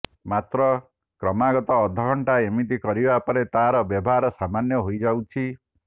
ମାତ୍ର କ୍ରମାଗତ ଅଧା ଘଣ୍ଟା ଏମିତି କରିବା ପରେ ତାର ବ୍ୟବହାର ସାମାନ୍ୟ ହୋଇ ଯାଉଛି